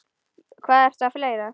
Hvað ertu með fleira, góða?